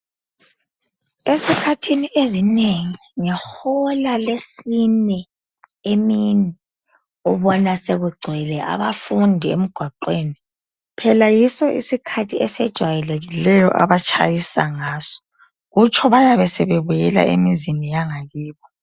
esikhathini esinengi ngehola lesine emini ubona sekugcwele abafundi emgwaqweni phela yiso isikhathi esijwayelekileyo abatshayisa ngaso kutsho bayabe sebebuyela emizini yangakibo